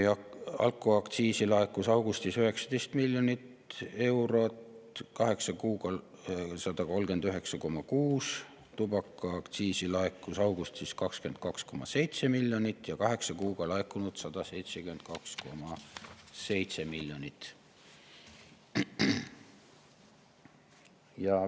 Alkoaktsiisi laekus augustis 19 miljonit eurot ja kaheksa kuuga 139,6 miljonit ning tubakaaktsiisi laekus augustis 22,7 miljonit ja kaheksa kuuga 172,7 miljonit.